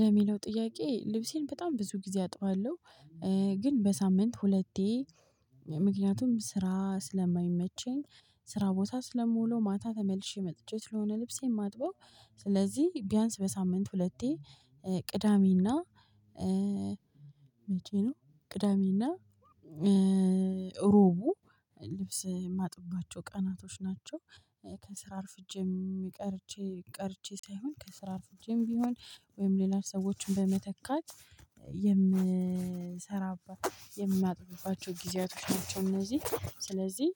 ለሚለው ጥያቄ ልብሴን በጣም ብዙ ጊዜ አጥባለሁ። ግን በሳምንት ሁለቴ ምክንያቱም ስራ ስለማይመቸኝ ስራ ቦታ ስለምውለው ማታ ተመልሼ መጥቼ ስለሆነ ልብሴን ማጥበው ስለዚህ ቢያንስ በሳምንት ሁለቴ ቅዳሜና መቼ ነው ቅዳሜና እሮቡ ልብስ የማጥባቸው ቀናቶች ናቸው። ከስራ አርፍጄ የሚቀርቼ ቀርቼ ሳይሆን ከስራ አርፍቼም። ቢሆን ወይም ሌላ ሰዎችን በመተካት የምሰራበት የምናጥብባቸው ጊዜያቶች ናቸው። እነዚህ ስለዚህ